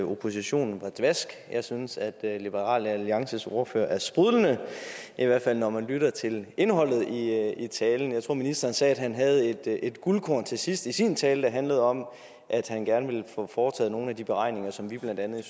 oppositionen var dvask jeg synes at liberal alliances ordfører er sprudlende i hvert fald når man lytter til indholdet i i talen jeg tror ministeren sagde at han havde et guldkorn til sidst i sin tale der handlede om at han gerne ville få foretaget nogle af de beregninger som vi blandt andet i